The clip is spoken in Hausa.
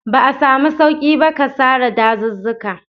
Ba a samu sauƙi ba ga sare dazuzzuka.